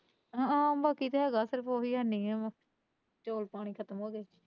ਹਾਂ ਬਾਕੀ ਤੇ ਹੈਗਾ ਸਿਰਫ਼ ਉਹੀ ਹੈ ਨਹੀਂ ਚੋਲ ਪਾਣੀ ਖ਼ਤਮ ਹੋ ਗਏ।